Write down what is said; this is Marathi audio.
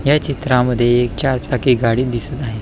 ह्या चित्रामध्ये एक चार चाकी गाडी दिसत आहे.